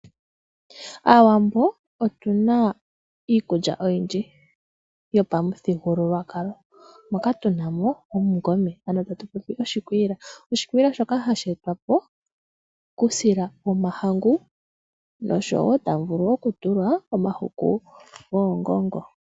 Aawambo otunaa iikulya oyindji yopamuthigululwakalo. Moka tunamo omungome ano tatupopi oshikwiila, oshikwiila shoka hasheetwapo kuusila womahangu nosho woo tamuvulu okutulwa omahuku goongongo.